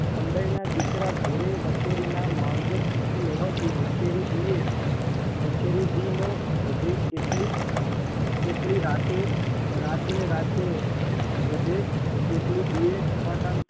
પંડઈના દીકરા ઘોડે વછેરીના માવજત થતી હોવાથી વછેરી દીએ વછેરી દીનો વધે એટલી એટલી રાતે રાતને રાતે વધે એટલી દિને ઝપાટા